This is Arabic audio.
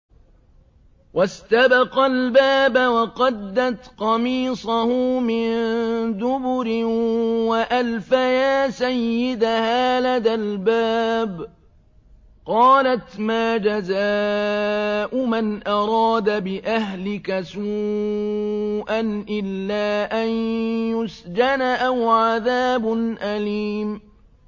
وَاسْتَبَقَا الْبَابَ وَقَدَّتْ قَمِيصَهُ مِن دُبُرٍ وَأَلْفَيَا سَيِّدَهَا لَدَى الْبَابِ ۚ قَالَتْ مَا جَزَاءُ مَنْ أَرَادَ بِأَهْلِكَ سُوءًا إِلَّا أَن يُسْجَنَ أَوْ عَذَابٌ أَلِيمٌ